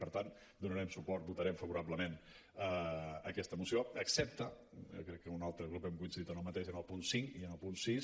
per tant donarem suport votarem favorablement aquesta moció excepte jo crec que amb un altre grup hem coincidit en el mateix en el punt cinc i en el punt sis